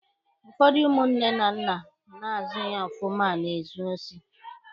Ụfọdụ ụmụ nne na nna na-azụghi ofụma na-ezu osi.